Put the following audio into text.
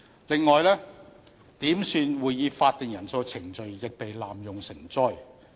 此外，點算會議法定人數的程序亦被濫用成災。